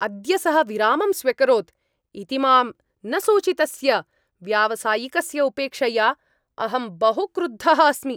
अद्य सः विरामं स्व्यकरोत् इति मां न सूचितस्य व्यावसायिकस्य उपेक्षया अहं बहु क्रुद्धः अस्मि।